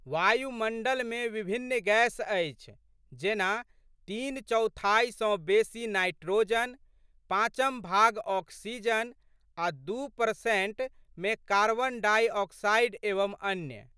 वायुमण्डलमे विभिन्न गैस अछि जेना, तीन चैथाइ सँ बेशी नाइट्रोजन, पाँचम भाग ऑक्सीजन आ' दू प्रतिशत मे कॉर्बन डाइऑक्साइड एवं अन्य।